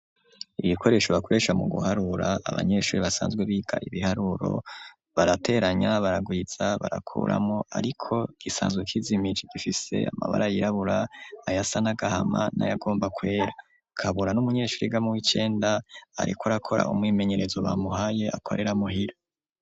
Ibikoresho bakoresha mu guharura abanyeshure basanzwe biga ibiharuro barateranya baragwiza barakuramwo ariko gisanzwe kizimiri gifise amabara yirabura ayasa n'agahama nayagomba kwera. Kabura n'umunyeshure yiga mu w'icyenda ariko arakora umwimenyerezo bamuhaye akorera muhira.